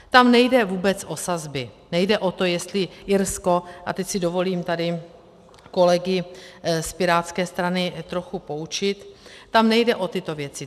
Tam nejde vůbec o sazby, nejde o to, jestli Irsko, a teď si dovolím tady kolegy z Pirátské strany trochu poučit, tam nejde o tyto věci.